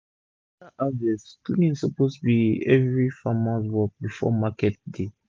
after harvest cleaning suppose be everi farmers work before market day